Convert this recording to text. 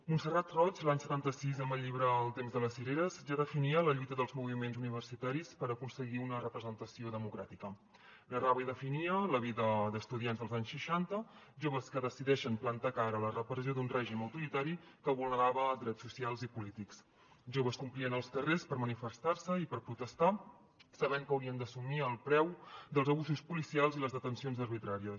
montserrat roig l’any setanta sis en el llibre el temps de les cireres ja definia la lluita dels moviments universitaris per aconseguir una representació democràtica narrava i definia la vida d’estudiants dels anys seixanta joves que decideixen plantar cara a la repressió d’un règim autoritari que vulnerava drets socials i polítics joves que omplien els carrers per manifestar se i per protestar sabent que haurien d’assumir el preu dels abusos policials i les detencions arbitràries